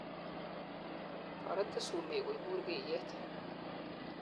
toretin sumek koibun burkeiyet